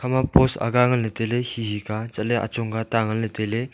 ama post aaga ngan ley tailey hehe ka chatle achong ka ta ngan le tailey.